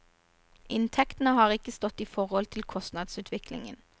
Inntektene har ikke stått i forhold til kostnadsutviklingen.